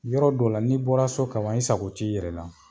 Yɔrɔ dɔw la n'i bɔra so ka ban, i sago t'i yɛrɛ la.